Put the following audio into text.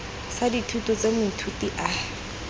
sa dithuto tse moithuti a